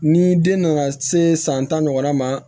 Ni den nana se san tan ɲɔgɔnna ma